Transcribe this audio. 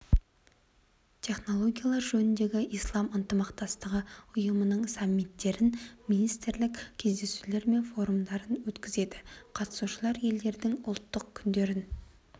технологиялар жөніндегі ислам ынтымақтастығы ұйымының саммиттерін министрлік кездесулері мен форумдарын өткізеді қатысушы елдердің ұлттық күндерін